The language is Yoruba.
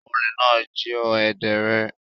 Olè náà jí ó èdè rẹ̀.